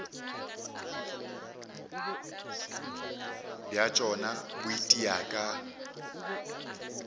bja tšona bo itia ka